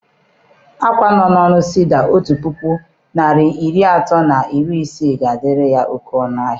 Akwa nọ na ọnụ cedi otu puku narị iri atọ na iri ise ga a dịrị ya oke ọnụ ahịa